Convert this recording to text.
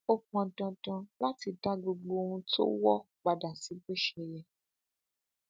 ó pọn dandan láti dá gbogbo ohun tó wọ padà sí bó ṣe yẹ